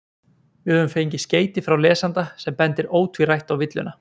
við höfum fengið skeyti frá lesanda sem bendir ótvírætt á villuna